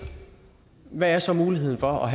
hvad er så muligheden for